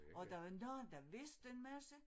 Og der var nogen der vidste en masse